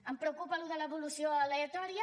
em preocupa això de l’evolució aleatòria